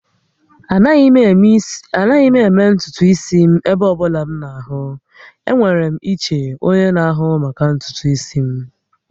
Anaghị m eme ntutu isi m ebe ọ bụla m na-ahụ. Enwere m iche onye na-ahụ maka ntutu isi m